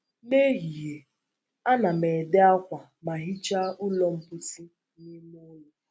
N’ehihie, ana m ede akwa ma hichaa ụlọ mposi na ime ụlọ.